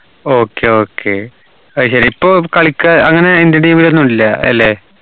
okay okay അയ്‌ശരി ഇപ്പൊ കളിക്ക് അങ്ങനെ indian team ലൊന്നുല്ല അല്ലെ